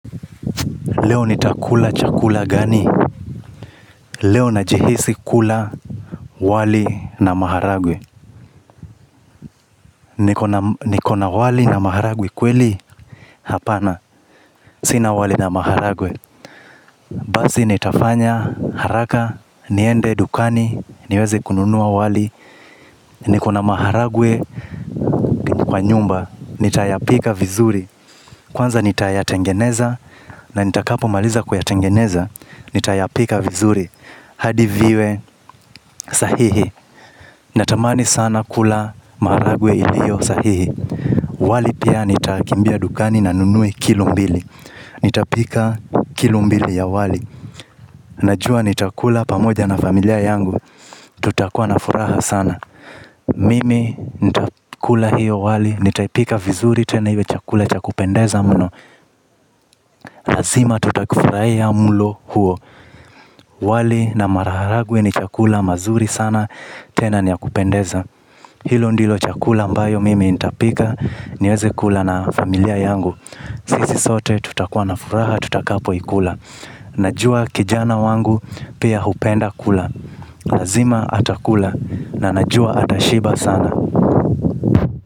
Leo nitakula chakula gani? Leo najihisi kula wali na maharagwe. Niko na wali na maharagwe kweli? Hapana, sina wali na maharagwe. Basi nitafanya haraka niende dukani niweze kununua wali. Nikona maharagwe kwa nyumba, nitayapika vizuri. Kwanza nitayatengeneza. Na nitakapomaliza kuyatengeneza, nitayapika vizuri hadi viwe sahihi. Natamani sana kula maharagwe yaliyo sahihi. Wali pia nitakimbia dukani na ninunue kilo mbili. Nitapika kilumbili ya wali. Najua nitakula pamoja na familia yangu. Tutakuwa na furaha sana. Mimi nitakula hiyo wali, nitaipika vizuri tena iwe chakula cha kupendeza mno. Lazima tutafurahia mlo huo. Wali na maharage ni chakula kizuri sana, tena ni ya kupendeza. Hiyo ndiyo chakula ama yo mimi nitapika, niweze kula na familia yangu. Sisi sote tutakua na furaha tutakapo ikula. Najua kijana wangu pia hupenda kula. Lazima atakula na najua atashiba sana.